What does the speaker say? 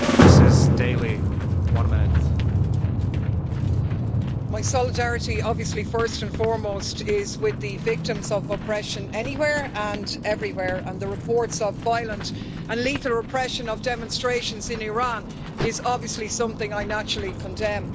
Mr President, my solidarity, obviously, first and foremost is with the victims of oppression anywhere and everywhere, and the reports of violent and lethal repression of demonstrations in Iran is, obviously, something I, naturally, condemn.